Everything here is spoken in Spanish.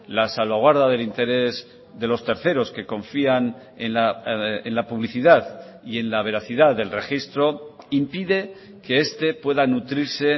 la salvaguarda del interés de los terceros que confían en la publicidad y en la veracidad del registro impide que este pueda nutrirse